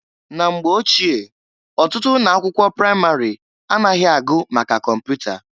Na mgbe ochie, ọtụtụ ụnọ akwụkwọ pramarị anaghị agụ maka kọmpụta.